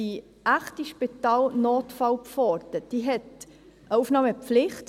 Die echte Spitalnotfallpforte hat eine Aufnahmepflicht.